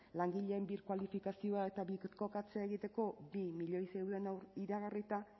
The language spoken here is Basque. langileen birkualifikazioa eta birkokatzea egiteko bi milioi zeuden iragarrita